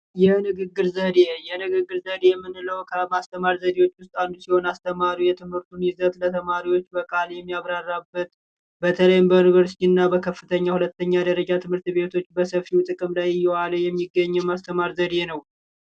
የንግግር ዘዴ የንግግር ዘዴ የምንለው ከማስተማር ዘዴዎች ውስጥ አንዱ። ሲሆን አስተማሪው የትምህርቱን ይዘት በቃል የሚያብራራበት በተለይም በዩኒቨርስቲ እና በከፍተኛ ፣በሁለተኛ ደረጃ ትምህርት ቤቶች በሰፊው ጥቅም ላይ እየዋለ የሚገኝ የማስተማር ዘዴ ነው።